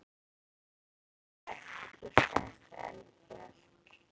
Hekla er þekkt íslenskt eldfjall.